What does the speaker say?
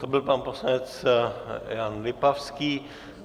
To byl pan poslanec Jan Lipavský.